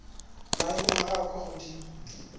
maemong a a kwa godimo